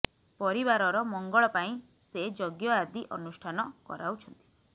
ପରିବାରର ମଙ୍ଗଳ ପାଇଁ ସେ ଯଜ୍ଞ ଆାଦି ଅନୁଷ୍ଠାନ କରାଉଛନ୍ତି